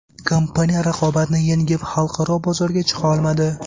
Kompaniya raqobatni yengib, xalqaro bozorga chiqa olmadi.